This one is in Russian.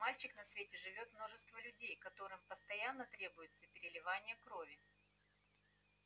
мальчик на свете живёт множество людей которым постоянно требуется переливание крови